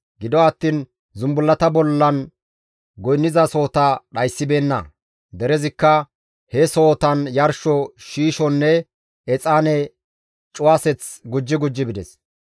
Gido attiin zumbullata bollan goynnizasohota dhayssibeenna; derezikka he sohotan yarsho shiishonne exaane cuwaseth gujji gujji bides.